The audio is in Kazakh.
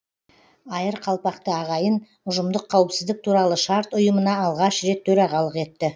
айыр қалпақты ағайын ұжымдық қауіпсіздік туралы шарт ұйымына алғаш рет төрағалық етті